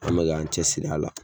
An mɛ k'an cɛsiri a la